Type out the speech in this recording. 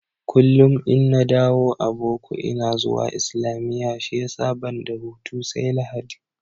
Kullum in na dawo a boko ina zuwa islamiyya shiyasa banda hutu sai Lahadi